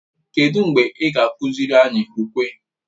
Kedụ mgbe ị ga-akụziri anyị ukwe?